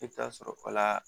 I bɛ taa sɔrɔ o la